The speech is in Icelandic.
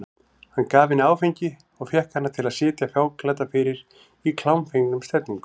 Hann gaf henni áfengi og fékk hana til að sitja fáklædda fyrir í klámfengnum stellingum.